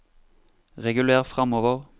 reguler framover